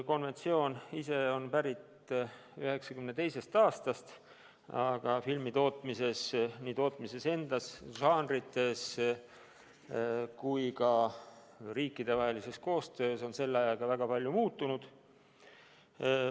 Konventsioon ise on pärit 1992. aastast, aga filmitootmises – nii tootmises endas, žanrites kui ka riikidevahelises koostöös – on selle ajaga väga palju muutunud.